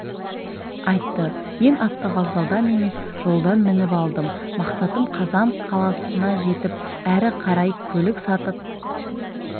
айтты мен автовокзалдан емес жолдан мініп алдым мақсатым қазан қаласына жетіп әрі қарай көлік сатып